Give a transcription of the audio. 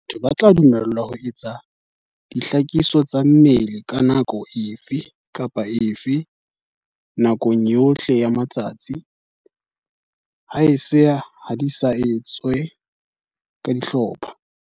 Batho ba tla dumellwa ho etsa dihlakiso tsa mmele ka nako efe kapa efe nakong yohle ya letsatsi, haese ha di sa etswe ka dihlopha.